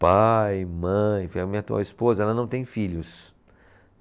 Pai, mãe, minha atual esposa, ela não tem filhos.